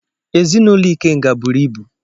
Ezinụlọ ikenga buru ibu.